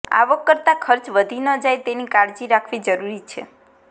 આવક કરતાં ખર્ચ વધી ન જાય તેની કાળજી રાખવી જરૂરી છે